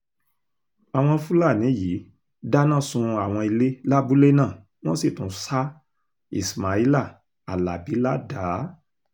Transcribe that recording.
àwọn fúlàní yìí dáná sun àwọn ilé lábúlé náà wọ́n sì tún ṣá ismaila alábì ládàá